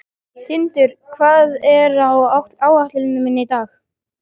Tindur, hvað er á áætluninni minni í dag?